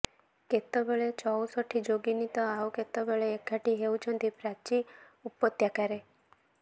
କେତେବେଳେ ଚଉଷଠି ଯୋଗିନୀ ତ ଆଉ କେତେବେଳେ ଏକାଠି ହେଉଛନ୍ତି ପ୍ରାଚୀ ଉପତ୍ୟକାରେ